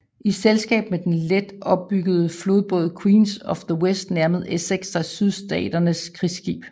I selskab med den let ombyggede flodbåd Queen of the West nærmede Essex sig Sydstaternes krigsskib